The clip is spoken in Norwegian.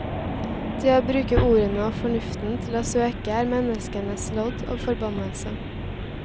Det å bruke ordene og fornuften til å søke er menneskenes lodd, og forbannelse.